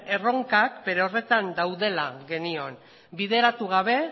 erronkak bere horretan daudela genion bideratu gabe